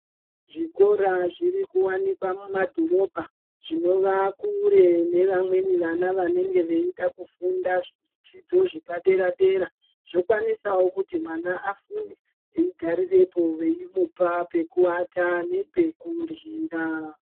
Zvikoro zvirikuwanikwa mumadhorobha, zvinova kure nevamweni vana vanenge veida kufunda zvidzidzo zvepadera-dera, zvokwanisawo kuti mwana afunde eigarirepo veimupa pekuata nepekuryira.